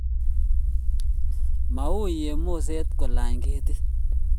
Ma uiy eng' moset kolany ketit